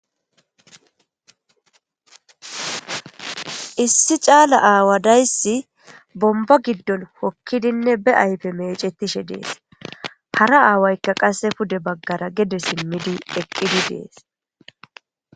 Issi caalla aawa dayssi bombba giddon hookidinne be ayfe meecetishe de'es hara aawaykka qase pudde baggara geddes iimmidii eqqidii de'es